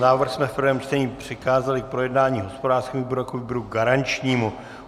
Návrh jsme v prvém čtení přikázali k projednání hospodářskému výboru jako výboru garančnímu.